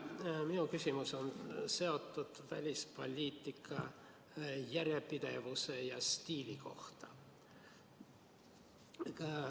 Minu küsimus on seotud välispoliitika järjepidevuse ja stiiliga.